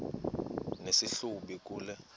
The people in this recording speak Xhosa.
nesi hlubi kule